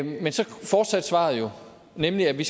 men så fortsatte svaret jo med med at vi